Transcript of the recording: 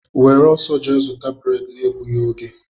Were ọsọ jee zụta breedi na-egbughi ógè!!!!!